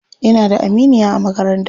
Ina da aminiya a makaranta.